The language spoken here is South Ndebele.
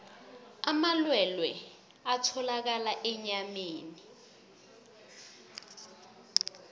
amalwelwe atholakala enyameni